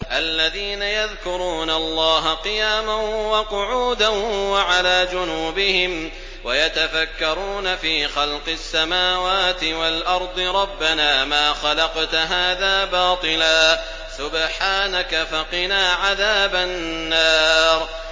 الَّذِينَ يَذْكُرُونَ اللَّهَ قِيَامًا وَقُعُودًا وَعَلَىٰ جُنُوبِهِمْ وَيَتَفَكَّرُونَ فِي خَلْقِ السَّمَاوَاتِ وَالْأَرْضِ رَبَّنَا مَا خَلَقْتَ هَٰذَا بَاطِلًا سُبْحَانَكَ فَقِنَا عَذَابَ النَّارِ